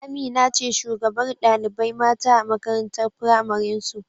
Amina ce shugabar ɗalibai mata a makarantar pramarin su